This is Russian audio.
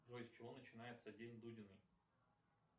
джой с чего начинается день дудина